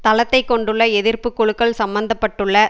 தளத்தை கொண்டுள்ள எதிர்ப்பு குழுக்கள் சம்பந்த பட்டுள்ள